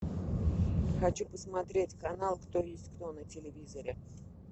хочу посмотреть канал кто есть кто на телевизоре